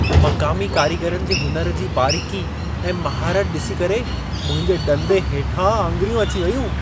मक़ामी कारीगरनि जे हुनर जी बारीक़ी ऐं महारत ॾिसी करे मुंहिंजे ॾंदे हेठां आङिरियूं अची वेयूं।